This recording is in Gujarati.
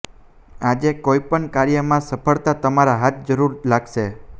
આજે કોઈ પણ કાર્ય માં સફળતા તમારા હાથ જરૂર લાગશે